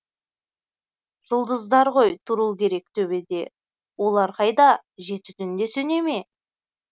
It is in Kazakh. жұлдыздар ғой тұру керек төбеде олар қайда жеті түнде сөнеме